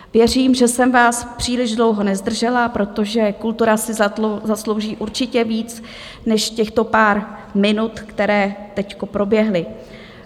Věřím, že jsem vás příliš dlouho nezdržela, protože kultura si zaslouží určitě víc než těchto pár minut, které teď proběhly.